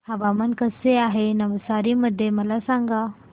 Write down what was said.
हवामान कसे आहे नवसारी मध्ये मला सांगा